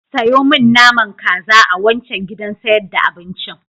Sayo min naman kaza a wancan gidan sayar da abincin.